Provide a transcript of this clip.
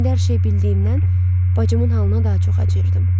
İndi hər şeyi bildiyimdən bacımın halına daha çox acıyırdım.